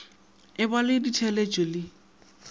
e ba le ditheeletšo le